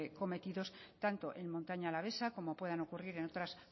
cometidos tanto en montaña alavesa como puedan ocurrir en otras